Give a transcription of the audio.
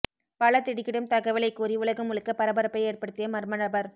பல திடுக்கிடும் தகவலை கூறி உலகம் முழுக்க பரபரப்பை ஏற்படுத்திய மர்ம நபர்